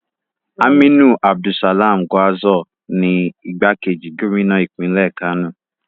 Aminu Abdussalam Gwarzo ni igbákejì gómìnà ìpínlẹ̀ Kano.